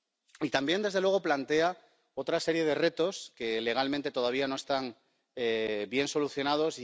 Y también, desde luego, plantea otra serie de retos que, legalmente, todavía no están bien solucionados.